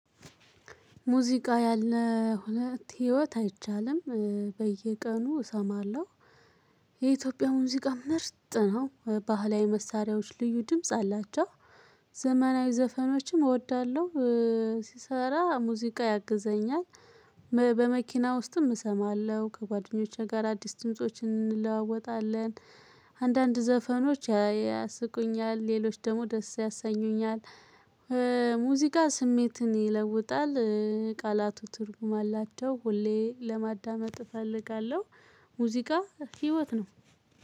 ሙዚቃ ያለው ህይወት አይቻልም በየቀኑ እሰማለሁ። የኢትዮጵያ ሙዚቃ ምርጥ ነው። ባህላዊ መሳሪያዎች ልዩ ድምጽ አላቸው። ዘመናዊ ዘፈኖችም እወዳለሁ። ስሰራ ሙዚቃ ያግዘኛል። በመኪና ውስጥም እሰማለሁ ከጓደኞቼ ጋር አዲስ ድምፆችን እንለዋወጣለን። አንዳንድ ዘፈኖች ያስቁኛል ሌሎች ደግሞ ደስ ያሰኙኛል። ሙዚቃ ስሜትን ይለውጣል። ቃላቱ ትርጉም አላቸው ሁሌ ለማዳመጥ እፈልጋለሁ። ሙዚቃ ህይወት ነው።